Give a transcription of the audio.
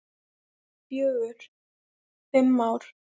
Fjögur, fimm ár.